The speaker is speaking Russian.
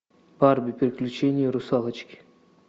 барби приключения русалочки